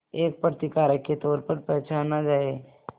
एक प्रतिकारक के तौर पर पहचाना जाए